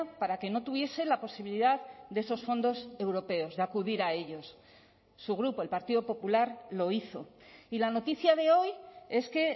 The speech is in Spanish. para que no tuviese la posibilidad de esos fondos europeos de acudir a ellos su grupo el partido popular lo hizo y la noticia de hoy es que